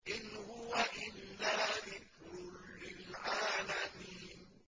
إِنْ هُوَ إِلَّا ذِكْرٌ لِّلْعَالَمِينَ